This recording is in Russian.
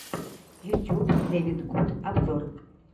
ютюб дэвидгуд обзор